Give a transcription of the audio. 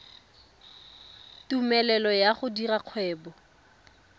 tumelelo ya go dira kgwebo